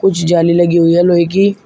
कुछ जाली लगी हुई है लोहे की।